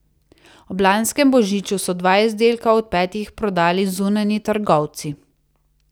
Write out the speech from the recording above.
Ob lanskem božiču so dva izdelka od petih prodali zunanji trgovci.